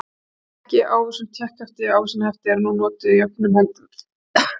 Tékki og ávísun, tékkhefti og ávísanahefti eru nú notuð jöfnum höndum.